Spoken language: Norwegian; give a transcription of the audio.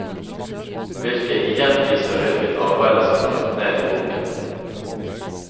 Hvilket igjen viser hvilket arbeide som er lagt ned i boken.